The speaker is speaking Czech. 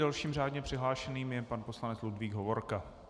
Dalším řádně přihlášeným je pan poslanec Ludvík Hovorka.